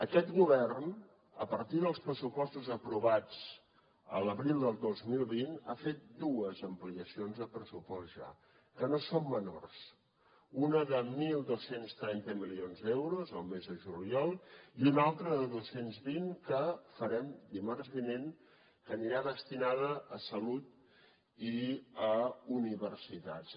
aquest govern a partir dels pressupostos aprovats a l’abril del dos mil vint ha fet dues ampliacions de pressupost ja que no són menors una de dotze trenta milions d’euros al mes de juliol i una altra de dos cents i vint que farem dimarts vinent que anirà destinada a salut i a universitats